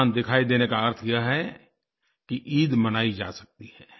चाँद दिखाई देने का अर्थ यह है कि ईद मनाई जा सकती है